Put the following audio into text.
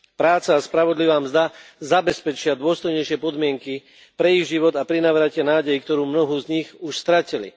Práca a spravodlivá mzda zabezpečia dôstojnejšie podmienky pre ich život a prinavrátia nádej, ktorú mnohí z nich už stratili.